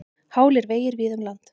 Hálir vegir víða um land